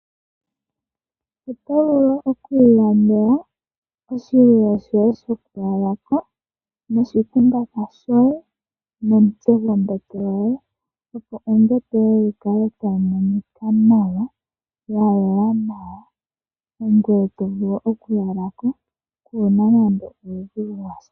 Otovulu oku ilandela oshinima shoye shoku lala Noshikumbatha shoye nomutse gombete yoye opo ombete yoye yikale tayi monika nawa ,ya yela nawa ngoye tovulu okulalako kuna nande uudhigu washa.